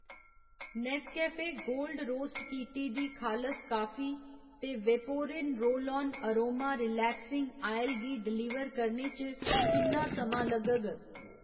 Nescafe gold roast कीती दी खालस काफी ते वेपोरिन roll on aroma relaxing oil गी डलीवर करने च किन्ना समां लग्गग ?